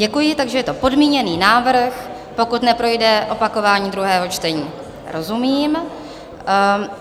Děkuji, takže je to podmíněný návrh, pokud neprojde opakování druhého čtení - rozumím.